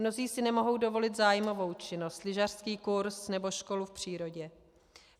Mnozí si nemohou dovolit zájmovou činnost, lyžařský kurz nebo školu v přírodě.